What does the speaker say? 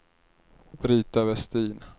Brita Westin